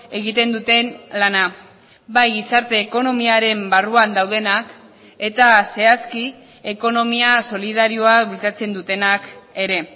egiten duten lana bai gizarte ekonomiaren barruan daudenak eta zehazki ekonomia solidarioa bultzatzen dutenak ere